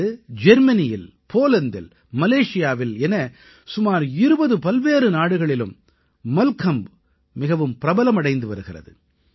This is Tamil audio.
இன்று ஜெர்மனியில் போலந்தில் மலேஷியாவில் என சுமார் 20 பல்வேறு நாடுகளிலும் மல்கம்ப் மிகவும் பிரபலமடைந்து வருகிறது